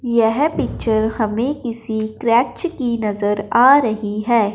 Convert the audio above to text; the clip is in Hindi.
यह पिक्चर हमें किसी क्रश की नजर आ रही है।